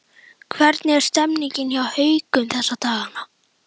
Hvernig er stemmningin hjá Haukum þessa dagana?